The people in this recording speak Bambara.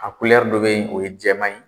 A dɔ be yen, o ye jɛman ye